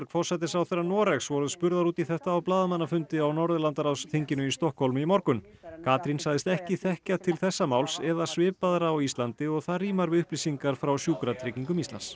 forsætisráðherra Noregs voru spurðar út í þetta á blaðamannafundi á Norðurlandaráðsþinginu í Stokkhólmi í morgun Katrín sagðist ekki þekkja til þessa máls eða svipaðra á Íslandi og það rímar við upplýsingar frá Sjúkratryggingum Íslands